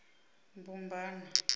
mbubana